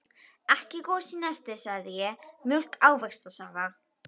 Ekki gos í nesti, segi ég, mjólk, ávaxtasafa.